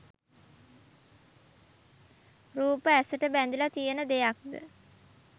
රූප ඇසට බැඳිල තියෙන දෙයක්ද?